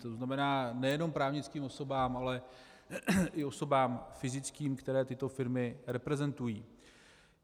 To znamená nejenom právnickým osobám, ale i osobám fyzickým, které tyto firmy reprezentují.